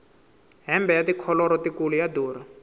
hembe ya tikholoro tikulu ya durha